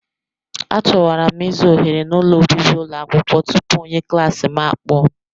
A chọwara m ịzụ ohere n'ụlọ obibi ụlọ akwụkwọ tupu onye klaasị m akpọọ m.